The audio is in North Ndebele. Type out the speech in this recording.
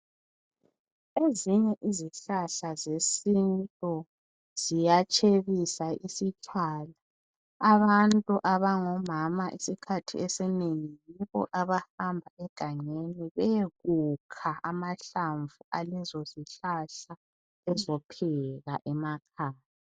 Ezinye izihlahla zesiNtu ziyatshebisa isitshwala. Abantu abangomama yibo abahamba egangeni bayekupha amahlamvu alezozihlahla bazepheka emakhaya.